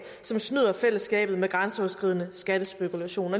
som snyder fællesskabet med grænseoverskridende skattespekulation